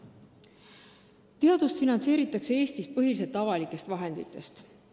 Teadust finantseeritakse Eestis põhiliselt avalikest vahenditest.